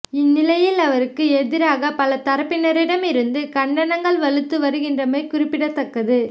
இந்நிலையில் அவருக்கு எதிராக பல தரப்பினரிடமிருந்தும் கண்டனங்கள் வலுத்து வருகின்றமை குறிப்பிடத்தக்கது